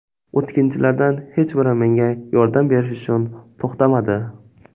O‘tkinchilardan hech biri menga yordam berish uchun to‘xtamadi.